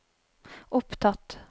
opptatt